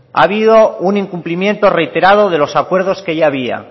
ha habido un incumplimiento reiterado de los acuerdos que ya había